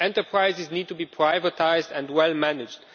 enterprises need to be privatised and well managed.